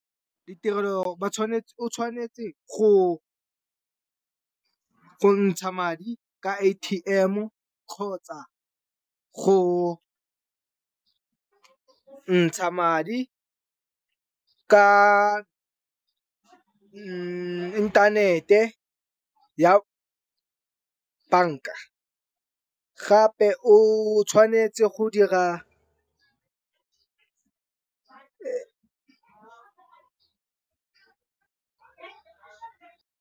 Ditirelo o tshwanetse go ntsha madi ka A_T_M kgotsa go ntsha madi ka inthanete ya bank-a gape o tshwanetse go dira.